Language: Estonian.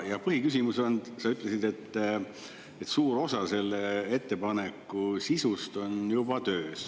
Ja põhiküsimus on, et sa ütlesid, et suur osa selle ettepaneku sisust on juba töös.